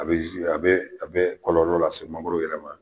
A bɛ a bɛ a bɛ kɔlɔlɔ lase mangoro yɛrɛ ma.